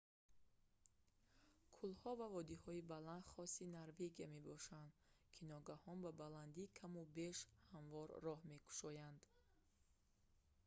кӯлҳо ва водиҳои баланд хоси норвегия мебошанд ки ногаҳон ба баландии каму беш ҳамвор роҳ мекушоянд